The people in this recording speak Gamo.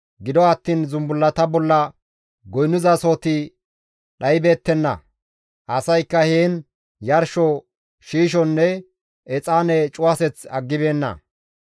Gido attiin zumbullata bolla goynnizasahoti dhaybeettenna; asaykka heen yarsho shiishonne exaane cuwaseth aggibeenna.